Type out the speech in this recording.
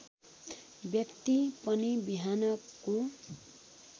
व्यक्ति पनि बिहानको